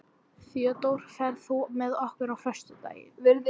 Theódór, ferð þú með okkur á föstudaginn?